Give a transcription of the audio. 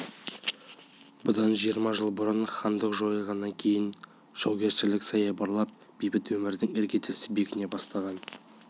бұдан жиырма жыл бұрын хандық жойылғаннан кейін жаугершілік саябырлап бейбіт өмірдің іргесі бекіне бастаған